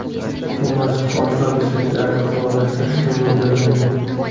Bu mashq orqa mushaklarni faollashtirishga mo‘ljallangan.